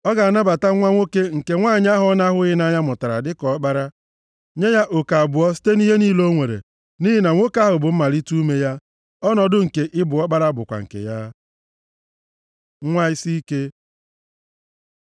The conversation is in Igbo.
Ọ ga-anabata nwa nwoke nke nwanyị ahụ ọ na-ahụghị nʼanya mụtara dị ka ọkpara, nye ya, oke abụọ site nʼihe niile o nwere. Nʼihi na nwoke ahụ bụ mmalite ume ya, ọnọdụ nke ị bụ ọkpara bụkwa nke ya. Nwa isiike